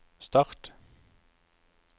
start